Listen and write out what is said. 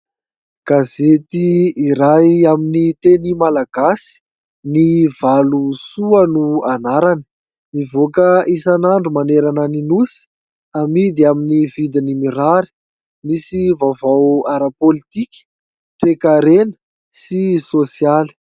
Gazety iray amin'ny teny malagasy ny Valosoa no anarany, mivoaka isan'andro manerana ny nosy, amidy amin'ny vidiny mirary misy vaovao ara- politika, ara toekarena sy ara-tsosialy.